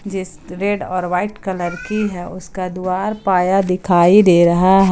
जिस रेड और white colour की है उसका द्वार पाया दिखाई दे रहा है।